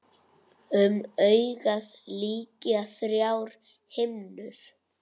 Um augað lykja þrjár himnur.